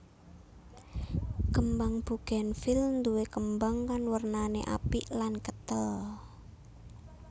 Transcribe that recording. Kembang Bugenvil nduwé kembang kang wernané apik lan ketel